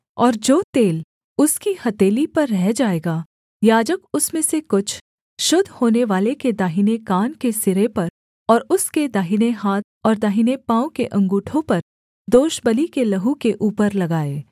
और जो तेल उसकी हथेली पर रह जाएगा याजक उसमें से कुछ शुद्ध होनेवाले के दाहिने कान के सिरे पर और उसके दाहिने हाथ और दाहिने पाँव के अँगूठों पर दोषबलि के लहू के ऊपर लगाए